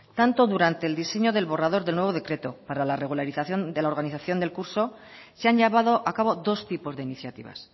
tanto durante el diseño del borrador del nuevo decreto para la regularización de la organización del curso se han llevado a cabo dos tipos de iniciativas